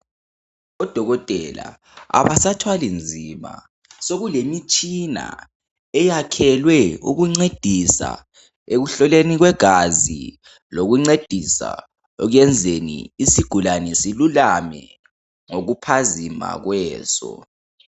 Odokotela abasathwali nzima sekulemitshina eyakhelwe ukuncedisa ekuhloleni kwegazi lokuncedisa ekuyenzeni isigulani silulame ngokuphazima kweso.